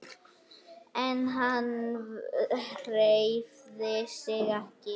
En hann hreyfði sig ekki.